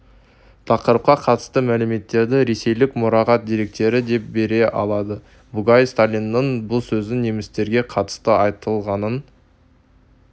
тақырыпқа қатысты мәліметтерді ресейлік мұрағат деректері де бере алады бугай сталиннің бұл сөзін немістерге қатысты айтылғанын